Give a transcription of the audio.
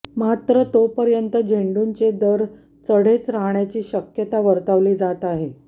मात्र तोपर्यंत झेंडूचे दर चढेच राहण्याची शक्यता वर्तवली जात आहे